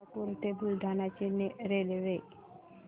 मलकापूर ते बुलढाणा ची रेल्वे